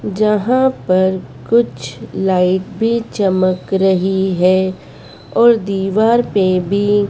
जहां पर कुछ लाइट भी चमक रही हैं और दीवार पे भी--